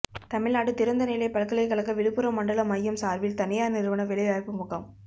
தமிழ்நாடு திறந்தநிலைப் பல்கலைக்கழக விழுப்புரம் மண்டல மையம் சார்பில் தனியார் நிறுவன வேலைவாய்ப்பு முகாம்